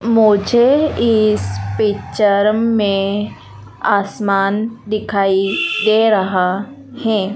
मुझे इस पिक्चर में आसमान दिखाई दे रहा है।